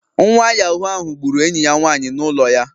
Nwa Yahoo ahu gburu enyi ya nwanyị n'ụlọ ya